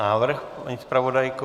Návrh, paní zpravodajko?